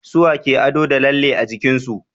suwa ke ado da lalle a jikinsu